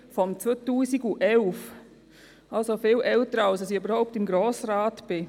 Sie ist also viel älter, als ich im Grossen Rat bin.